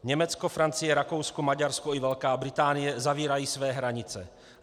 Německo, Francie, Rakousko, Maďarsko i Velká Británie zavírají své hranice.